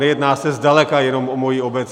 Nejedná se zdaleka jenom o moji obec.